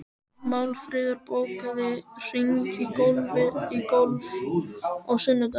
Málfríður, bókaðu hring í golf á sunnudaginn.